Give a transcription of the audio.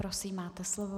Prosím máte slovo.